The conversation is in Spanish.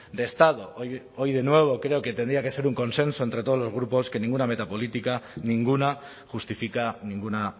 de estado hoy de nuevo creo que tendría que ser un consenso entre todos los grupos que ninguna meta política ninguna justifica ninguna